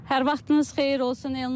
Hər vaxtınız xeyir olsun, Elnarə.